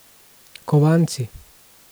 Kovanci.